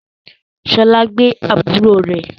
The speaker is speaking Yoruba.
Ṣọlá gbé àbúrò rẹ